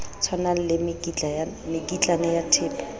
tshwanang le mekitlane ya thepa